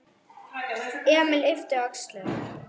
Emil yppti öxlum.